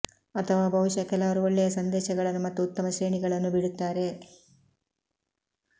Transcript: ಅಥವಾ ಬಹುಶಃ ಕೆಲವರು ಒಳ್ಳೆಯ ಸಂದೇಶಗಳನ್ನು ಮತ್ತು ಉತ್ತಮ ಶ್ರೇಣಿಗಳನ್ನು ಬಿಡುತ್ತಾರೆ